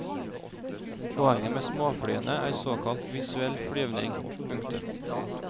Poenget med småflyene er såkalt visuell flyvning. punktum